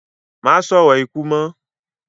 Má sòrò ikú mọ́